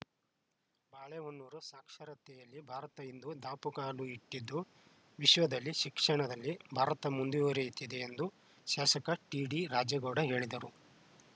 ಬಾಳೆಹೊನ್ನೂರು ಸಾಕ್ಷರತೆಯಲ್ಲಿ ಭಾರತ ಇಂದು ದಾಪುಗಾಲು ಇಟ್ಟಿದ್ದು ವಿಶ್ವದಲ್ಲಿ ಶಿಕ್ಷಣದಲ್ಲಿ ಭಾರತ ಮುಂದುವರಿಯುತ್ತಿದೆ ಎಂದು ಶಾಸಕ ಟಿಡಿ ರಾಜೇಗೌಡ ಹೇಳಿದರು